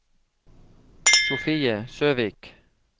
Sofie Søvik